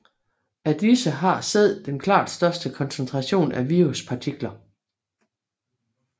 Af disse har sæd den klart største koncentration af viruspartikler